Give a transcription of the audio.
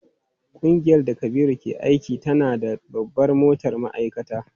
Kungiyar da Kabiru ke aiki tana da babbar motar ma'aikata.